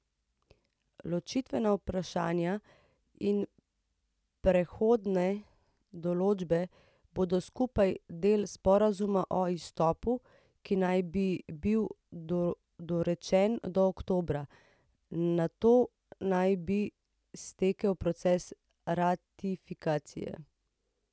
Ločitvena vprašanja in prehodne določbe bodo skupaj del sporazuma o izstopu, ki naj bi bil dorečen do oktobra, nato naj bi stekel proces ratifikacije.